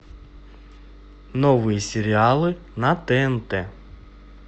новые сериалы на тнт